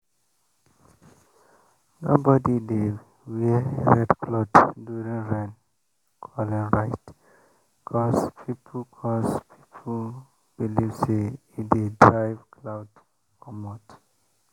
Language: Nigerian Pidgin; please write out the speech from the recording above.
nobody dey wear red cloth during rain-calling rite cause people cause people believe say e dey drive cloud comot.